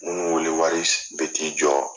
Munu wele wari bɛ t'i jɔ